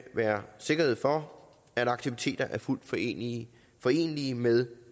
være sikkerhed for at aktiviteter er fuldt forenelige forenelige med